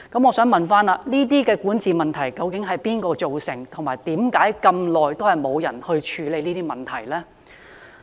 我想問這些管治問題，究竟由誰造成，以及為何這麼長時間，也沒有人處理這些問題呢？